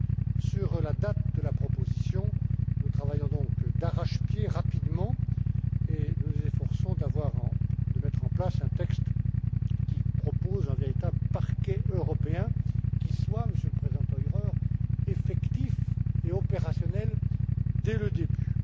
Concernant la date de la proposition, nous travaillons, donc, d'arrache pied, rapidement, et nous nous efforçons de mettre en place un texte qui propose un véritable Parquet européen, qui soit, Monsieur le président Theurer, effectif et opérationnel dès le début.